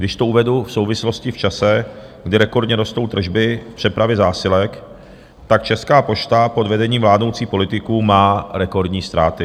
Když to uvedu v souvislosti v čase, kdy rekordně rostou tržby v přepravě zásilek, tak Česká pošta pod vedením vládnoucích politiků má rekordní ztráty.